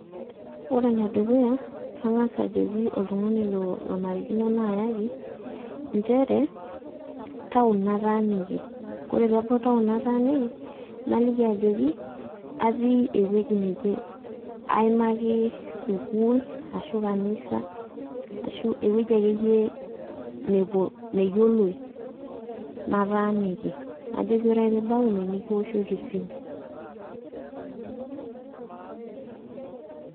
Ore enedukuya, kang'asa ajoki oltung'ani lonarikino nayaki, njere, taon ataaniki. Kore pebau taon nataaniki, naliki ajoki, atii ewueji neje. Aimaki sukuul, ashu kanisa, ashu ewueji akeyie nepuo, neyioloi, nataaniki. Najoki ore ake piibau ine, nikiwoshoki esimu.